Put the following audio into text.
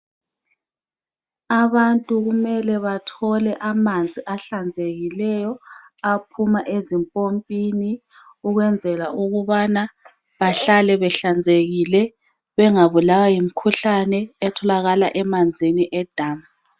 Abantu kumele bathole amanzi ahlanzekileyo aphuma ezimpompini ukwenzela ukubana bahlale behlanzekile bengabulawa yimikhuhlane etholakala emanzini edamu.